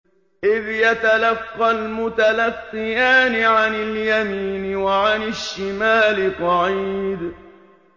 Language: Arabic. إِذْ يَتَلَقَّى الْمُتَلَقِّيَانِ عَنِ الْيَمِينِ وَعَنِ الشِّمَالِ قَعِيدٌ